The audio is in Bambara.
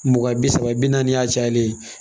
Mugan bi saba bi naani y'a cayalen